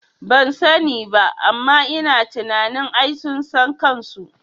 Bansani ba amma ina tunanin ai sun san kanso